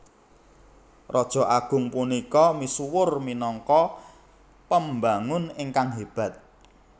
Raja agung punika misuwur minangka pembangun ingkang hébat